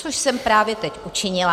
Což jsem právě teď učinila.